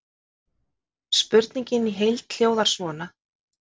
Spurningin í heild hljóðar svona: